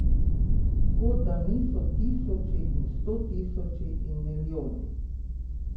Kot da niso tisoči in stotisoči in milijoni.